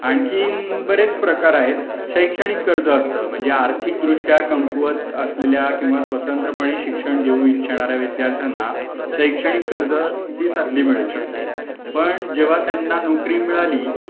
आणखीन बरेच प्रकार आहेत शैक्षणिक कर्ज असत म्हणजे आर्थिक दृष्ट्या कमकुवत असलेल्या किंवा स्वतंत्रपणे शिक्षण घेऊ इच्छेणाऱ्या विद्यार्थ्यांना शैक्षणिक कर्ज ची संधी मिळू शकते. पण जेव्हा त्यांना नोकरी मिळाली